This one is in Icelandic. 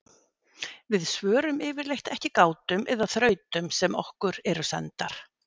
Við svörum yfirleitt ekki gátum eða þrautum sem okkur eru sendar.